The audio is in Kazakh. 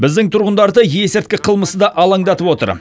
біздің тұрғындарды есірткі қылмысы да алаңдатып отыр